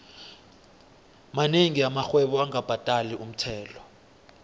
monengi amarhwebo angabhadali umthelo